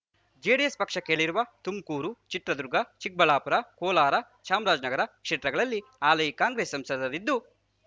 JDS ಪಕ್ಷ ಕೇಳಿರುವ ತುಮುಕೂರು ಚಿತ್ರದುರ್ಗ ಚಿಕ್ಕಬಳ್ಳಾಪುರ ಕೋಲಾರ ಚಾಮರಾಜನಗರ ಕ್ಷೇತ್ರಗಳಲ್ಲಿ ಹಾಲಿ ಕಾಂಗ್ರೆಸ್ ಸಂಸದರಿದ್ದು